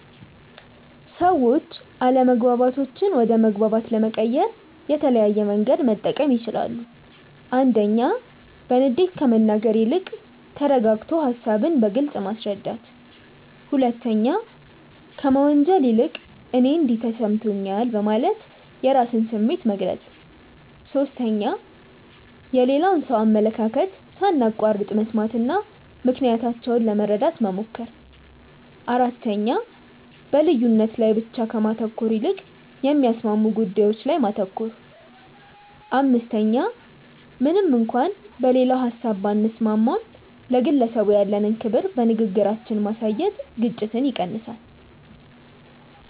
ሰዎች አለመግባባቶችን ወደ መግባባት ለመቀየር የተለያየ መንገድ መጠቀም ይችላሉ፦ 1. በንዴት ከመናገር ይልቅ ተረጋግቶ ሃሳብን በግልጽ ማስረዳት። 2. ከመወንጀል ይልቅ "እኔ እንዲህ ተሰምቶኛል" በማለት የራስን ስሜት መግለጽ። 3. የሌላውን ሰው አመለካከት ሳናቋርጥ መስማትና ምክንያታቸውን ለመረዳት መሞከር። 4. በልዩነት ላይ ብቻ ከማተኮር ይልቅ የሚያስማሙ ጉዳዮች ላይ ማተኮር። 5. ምንም እንኳን በሌላው ሀሳብ ባንስማማም፣ ለግለሰቡ ያለንን ክብር በንግግራችን ማሳየት ግጭትን ይቀንሳል።